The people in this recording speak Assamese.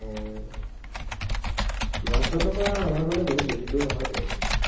মাজ বাটৰ পৰা আমাৰ ঘৰলে বেছি দুৰ নহয় টো